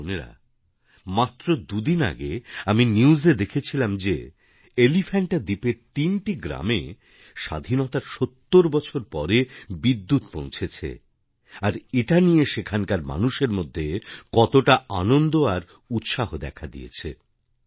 ভাই ও বোনেরা মাত্র দু দিন আগে আমি নিউজে দেখছিলাম যে এলিফ্যান্টা দ্বীপের তিনটি গ্রামে স্বাধীনতার সত্তর বছর পরে বিদ্যুৎ পৌঁছেছে আর এটা নিয়ে সেখানকার মানুষের মধ্যে কতটা আনন্দ আর উৎসাহ দেখা দিয়েছে